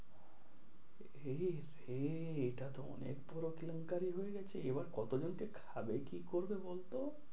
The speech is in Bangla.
সে সেই এটা তো অনেক বড়ো কেলেঙ্কারি হয়ে গেছে, এবার কতো জনকে খাবে কি করবে বল তো?